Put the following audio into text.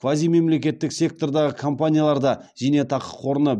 квазимемлекеттік сектордағы компаниялар да зейнетақы қорына